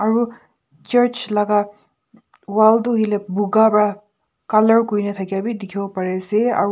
aru church laga wall tu hile bogha pra colour kori thaki boley dekhi ase aru.